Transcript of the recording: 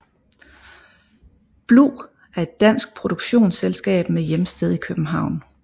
Blu er et dansk produktionsselskab med hjemsted i København